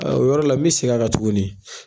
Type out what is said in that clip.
O yɔrɔ la mi segin a kan tuguni.